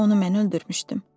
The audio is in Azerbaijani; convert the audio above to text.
Bəlkə onu mən öldürmüşdüm.